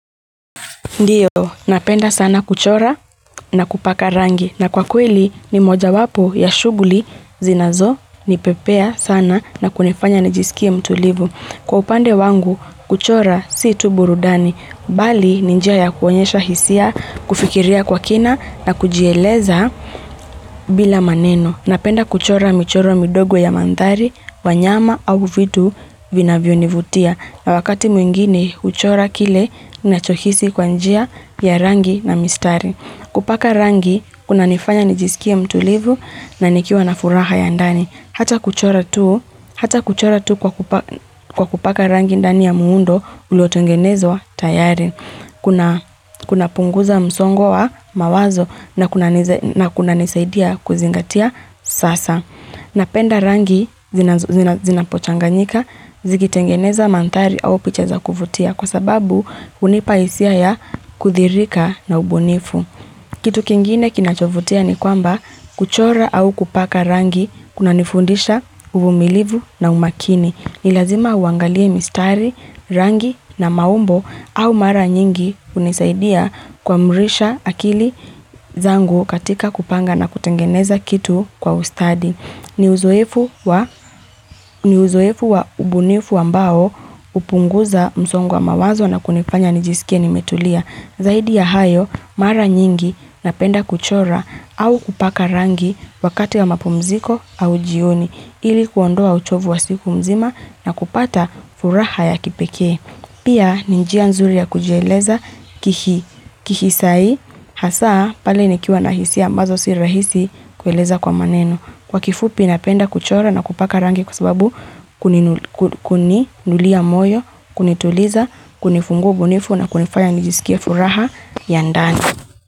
Ndio, napenda sana kuchora na kupaka rangi, na kwa kweli ni moja wapo ya shughuli zinazo nipepea sana na kunifanya nijiskie mtulivu. Kwa upande wangu, kuchora si tu burudani, bali ni njia ya kuonyesha hisia, kufikiria kwa kina na kujieleza bila maneno. Napenda kuchora michoro midogo ya mandhari, wanyama au vitu vinavyo nivutia na wakati mwingine kuchora kile ninacho hisi kwa njia ya rangi na mistari. Kupaka rangi kunanifanya nijisikie mtulivu na nikiwa na furaha ya ndani. Hata kuchora tu kwa kupaka rangi ndani ya muundo uliotengenezwa tayari kuna, Kuna punguza msongo wa mawazo na kunanisaidia kuzingatia sasa. Napenda rangi zinapochanganyika, zikitengeneza mandhari au picha za kuvutia kwa sababu hunipa hisia ya kuthihirika na ubunifu. Kitu kingine kinachovutia ni kwamba kuchora au kupaka rangi kunanifundisha uvumilivu na umakini. Ni lazima uangalie mistari, rangi na maumbo au mara nyingi hunisaidia kuamrisha akili zangu katika kupanga na kutengeneza kitu kwa ustadi. Ni uzoefu wa, ni uzoefu wa ubunifu ambao hupunguza msongo wa mawazo na kunifanya nijisikie nimetulia. Zaidi ya hayo, mara nyingi napenda kuchora au kupaka rangi wakati ya mapumziko au jioni, ili kuondoa uchovu wa siku mzima na kupata furaha ya kipekee. Pia ni njia nzuri ya kujieleza kihisai, hasa pale nikiwa na hisia ambazo si rahisi kueleza kwa maneno. Kwa kifupi napenda kuchora na kupaka rangi kwa sababu kuniinulia moyo, kunituliza, kunifungua ubunifu na kunifaya nijisikie furaha ya ndani.